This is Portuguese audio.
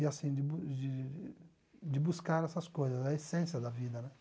E assim, de bu de de buscar essas coisas, a essência da vida, né?